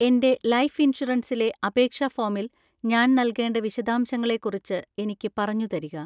എൻ്റെ ലൈഫ് ഇൻഷുറൻസിലെ അപേക്ഷാ ഫോമിൽ ഞാൻ നൽകേണ്ട വിശദാംശങ്ങളെ കുറിച്ച് എനിക്ക് പറഞ്ഞുതരിക.